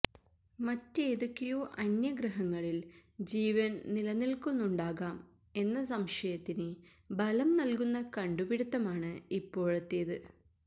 മറ്റേതൊക്കെയോ അന്യഗ്രഹങ്ങളില് ജീവന് നിലനില്ക്കുന്നുണ്ടാകാം എന്ന സംശയത്തിന് ബലം നല്കുന്ന കണ്ടുപിടുത്തമാണ് ഇപ്പോഴത്തേത്